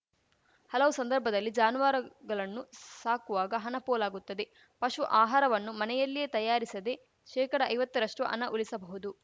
ಹಲವು ಸಂದರ್ಭದಲ್ಲಿ ಜಾನುವಾರುಗಲನ್ನು ಸಾಕುವಾಗ ಹನ ಪೋಲಾಗುತ್ತಿದೆ ಪಶು ಆಹಾರವನ್ನು ಮನೆಯಲ್ಲಿಯೇ ತಯಾರಿಸದೇ ಶೇಕಡ ಐವತ್ತ ರಷ್ಟು ಹನ ಉಲಿಸಬಹುದು